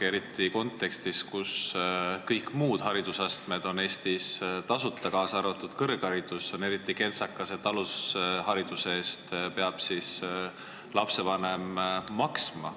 Eriti kontekstis, kus kõik muud haridusastmed on Eestis tasuta, kaasa arvatud kõrgharidus, on kentsakas, et alushariduse eest peab lapsevanem maksma.